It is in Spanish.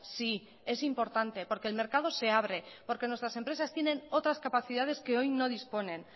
sí es importante porque el mercado se abre porque nuestras empresas tienen otras capacidades que hoy no disponen